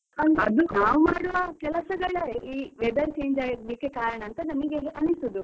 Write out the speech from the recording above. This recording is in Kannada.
ನಾವು ಮಾಡುವ ಕೆಲಸಗಳ, ಈ weather change ಆಗಲಿಕ್ಕೆ ಕಾರಣ ಅಂತ ನಮಿಗೆ ಅನಿಸೋದು.